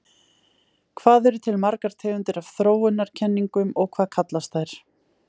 Hvað eru til margar tegundir af þróunarkenningum og hvað kallast þær?